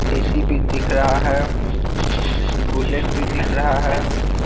AC भी दिख रहा है बुलेट भी दिख रहा है।